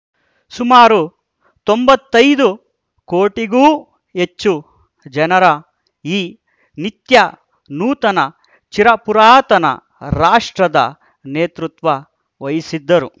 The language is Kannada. ಸುಮಾರು ತೊಂಬತ್ತೈದು ಕೋಟಿಗೂ ಹೆಚ್ಚು ಜನರ ಈ ನಿತ್ಯ ನೂತನ ಚಿರಪುರಾತನ ರಾಷ್ಟ್ರದ ನೇತೃತ್ವ ವಹಿಸಿದ್ದರು